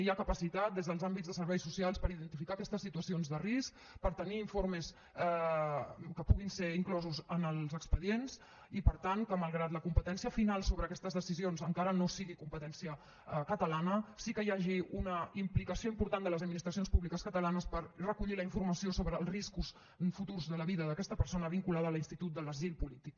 hi ha capacitat des dels àmbits de serveis socials per identificar aquestes situacions de risc per tenir informes que puguin ser inclosos en els expedients i per tant que malgrat que la competència final sobre aquestes decisions encara no sigui competència catalana sí que hi hagi una implicació important de les administracions públiques catalanes per recollir la informació sobre els riscos futurs de la vida d’aquesta persona vinculada a l’institut de l’asil polític